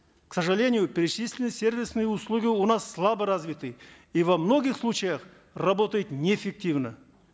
к сожалению перечисленные сервисные услуги у нас слабо развиты и во многих случаях работают неэффективно